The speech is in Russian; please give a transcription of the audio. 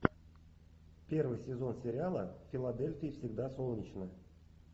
первый сезон сериала в филадельфии всегда солнечно